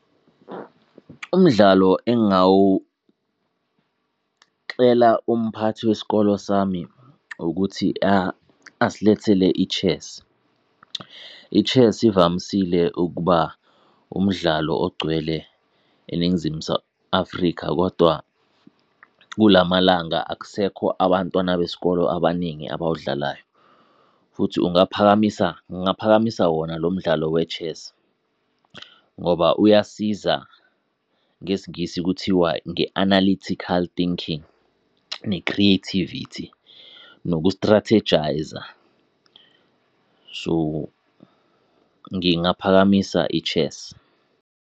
Umdlalo engawucela umphathi wesikolo sami ukuthi asilethele i-chess. I-chess ivamisile ukuba umdlalo ogcwele eNingizimu Afrika kodwa, kulamalanga akusekho abantwana besikolo abaningi abawudlalayo, futhi ungaphakamisa ngingaphakamisa wona lomdlalo we-chess, ngoba uyasiza, ngesingisi kuthiwa, nge-analytical thinking, ne-creativity, noku-strategise-a. So ngingaphakamisa i-chess.